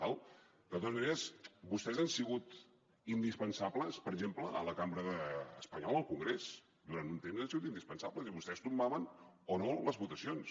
d’acord de totes maneres vostès han sigut indispensables per exemple a la cambra espanyola al congrés durant un temps hi han sigut indispensables i vostès hi tombaven o no les votacions